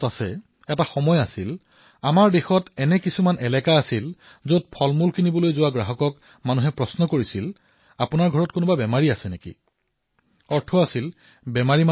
এনে এক সময় আছিল যেতিয়া আমাৰ দেশৰ কিছুমান অঞ্চলত কোনোবাই যদি ফল ক্ৰয় কৰা দেখা পায় তেন্তে তেওঁৰ কাষৰ মানুহে সোধে যে ঘৰত কাৰোবাৰ বেমাৰ হৈছে নেকি অৰ্থাৎ ফল বেমাৰ হলেহে খোৱা হয়